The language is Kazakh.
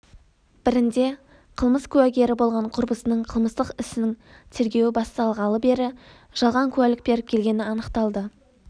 бірінде қылмыс куәгері болған құрбысының қылмыстық істің тергеуі басталғалы бері жалған куәлік беріп келгені анықталды